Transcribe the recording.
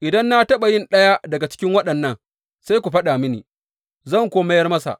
Idan na taɓa yi ɗaya daga cikin waɗannan, sai ku faɗa mini, zan kuwa mayar masa.